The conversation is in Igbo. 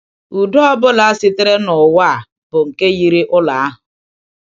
Udo ọ bụla sitere n’ụwa a bụ nke yiri ụlọ ahụ.